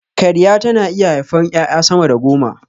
Karya tana iya haifar ƴaƴa sama da goma